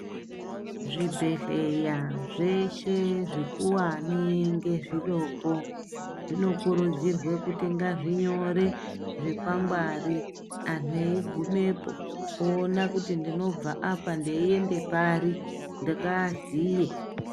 Zvibhedhlera zveshe zvikuwani ngezvidoko zvinokurudzirwe kuti ngazvinyore zvikwangwari anhu eigumepo oona kuti ndinobva apa ndeiende pari ngaaziye.